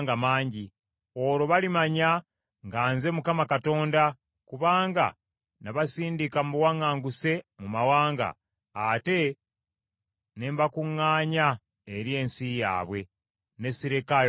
Olwo balimanya nga nze Mukama Katonda, kubanga nabasindika mu buwaŋŋanguse mu mawanga, ate ne mbakuŋŋaanya eri ensi yaabwe, ne sirekaayo n’omu.